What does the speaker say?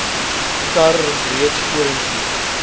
kar reeds vorentoe